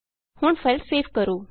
ਹੁਣ file save ਕਰੋ